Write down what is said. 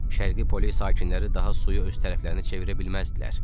Şərqi Pole sakinləri daha suyu öz tərəflərini çevirə bilməzdilər.